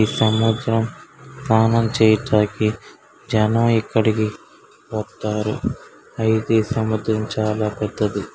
ఈ సముద్రం తానం చేయుటకి జనం ఇక్కడికి ఒత్తారు అయితే సముద్రం చాలా పెద్దది.